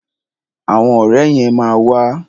Àwọn ọ̀rẹ́ yẹn ma wà.